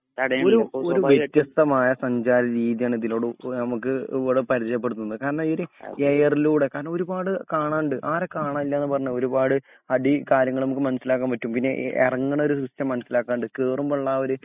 ഒരു ഒരു വ്യത്യസ്തമായ സഞ്ചാര രീതി ആണ് ഇതിലൂടെനമുക് ഇവടെ പരിജയപെടുത്തുന്ന കാരണം ഈ ഒര് എയറിലൂടെ കാരണം ഒരുപാട് കാണാണ്ട് ആരാ കാണാനില്ല പറഞ്ഞേ ഒരുപാട് അടികാര്യങ്ങൾ മ്മക് മനസ്സിലാക്കാൻ പറ്റും പിന്നെ എറങ്ങണൊരു സിസ്റ്റം മനസ്സിലാക്കാണ്ട് കേറുമ്പൊള്ള ആ ഒര്